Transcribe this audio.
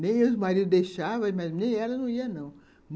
Nem os maridos deixavam, mas nem ela não ia, não.